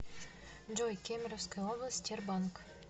джой кемеровская область тербанк